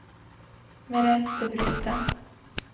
Merethe Brustad